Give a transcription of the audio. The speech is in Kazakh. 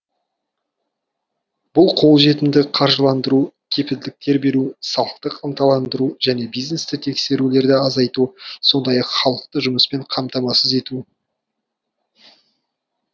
бұл қолжетімді қаржыландыру кепілдіктер беру салықтық ынталандыру және бизнесті тексерулерді азайту сондай ақ халықты жұмыспен қамтамасыз ету